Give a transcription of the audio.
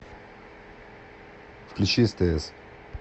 включи стс